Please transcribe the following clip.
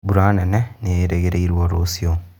Mbura nene nĩĩrĩgĩrĩrwo rũciũ